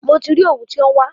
Mo ti rí òwú tí à ń wá.